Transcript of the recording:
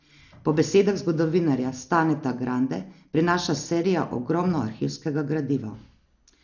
Po besedah zgodovinarja Staneta Grande prinaša serija ogromno arhivskega gradiva.